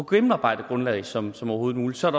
gennemarbejdet grundlag som som overhovedet muligt så er